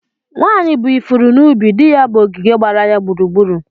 Nwanyị bụ ifuru n'ubi; di ya bụ ogige gbara ya gburugburu.